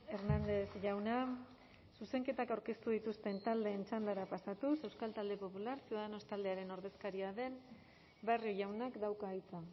hernández jauna zuzenketak aurkeztu dituzten taldeen txandara pasatuz euskal talde popular ciudadanos taldearen ordezkaria den barrio jaunak dauka hitza